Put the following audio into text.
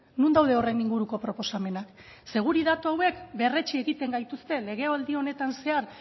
non daude horren inguruko proposamenak ze guri datu hauek berretsi egiten gaituzte legealdi honetan zehar